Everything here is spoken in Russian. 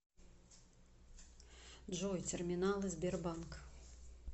джой терминалы сбербанк